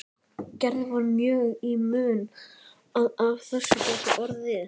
Gerði var mjög í mun að af þessu gæti orðið.